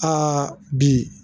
Aa bi